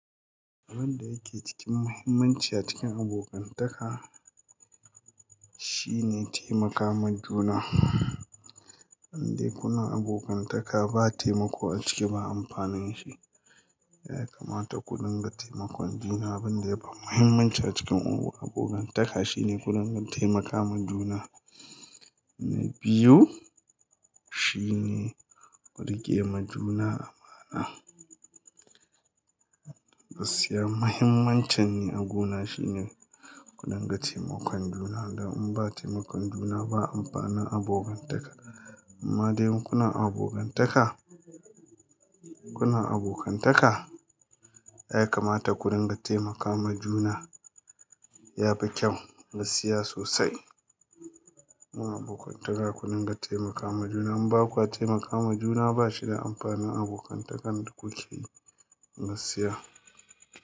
Abin da yike cikin muhimmanci a cikin abokantaka shine taimaka majuna. Indai kuna abokantaka ba taimako a ciki ba amfanin shi ya kamata ku dinga taimakon juna. Abin da yafi muhimmanci a cikin ungo abokantaka shine kuringa taimaka majuna. Na biyu shine ku riƙe ma juna amana. Gaskiya muhimmancin ni a guna shine ku dunga taimakon juna. Dan in ba taimakon juna ba, amfanin abokantaka. Amma dai kuna abokantaka, kuna abokantaka ya kamata ku rin ga taimaka majuna yafi kyau gaskiya sosai. Mu abokantaka ku dinƙa taimaka makuna. In baku a taimaka majuna ba shida amfanin abokantakan da kuke yi gaskiya.